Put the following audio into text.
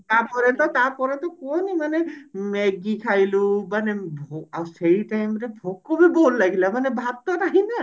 ତାପରେ ତ ତାପରେ ତ କୁହନି ମାନେ Maggie ଖାଇଲୁ ମାନେ ଭୋ ଆଉ ସେଇ time ରେ ଭୋକ ବି ଜୋରେ ଲାଗିଲା ମାନେ ଭାତ ନାହିଁ ନା